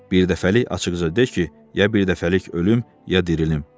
Birdəfəlik açıqca de ki, ya birdəfəlik ölüm, ya dirilim.